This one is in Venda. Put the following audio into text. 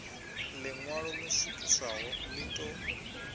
ḽiṋwalo ḽo swikiswaho ḽi ḓo